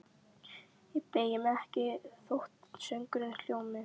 Ég beygi mig ekki þótt söngurinn hljómi: